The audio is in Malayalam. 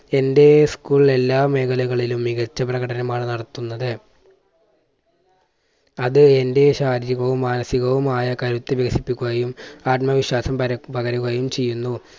എൻറെ school എല്ലാ മേഖലകളിലും മികച്ച പ്രകടനമാണ് നടത്തുന്നത്. അത് എൻറെ ശാരീരികവും മാനസികവുമായ കരുത്ത് വികസിപ്പിക്കുകയും ആത്മവിശ്വാസം പര~പകരുകയും ചെയ്യുന്നു.